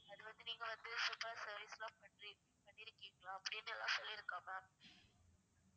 அது வந்து நீங்க வந்து super service லாம் பண்றிங்~ பண்ணிருக்கிங்கலாம் அப்டின்னுலாம் சொல்லிருக்கா ma'am